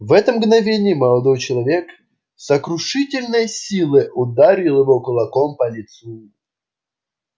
в это мгновение молодой человек с сокрушительной силой ударил его кулаком по лицу